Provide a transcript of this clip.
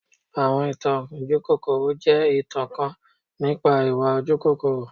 Awọn itan ojukokoro jẹ itan kan nipa iwa ojukokoro.